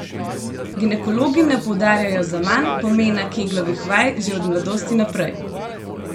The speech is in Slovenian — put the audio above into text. Ginekologi ne poudarjajo zaman pomena keglovih vaj že od mladosti naprej!